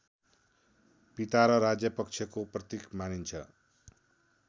पिता र राज्यपक्षको प्रतीक मानिन्छ